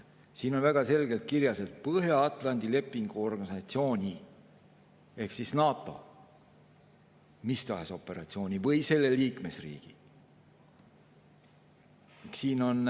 Siin on väga selgelt kirjas, et Põhja-Atlandi Lepingu Organisatsiooni ehk NATO või selle liikmesriigi mis tahes operatsioon.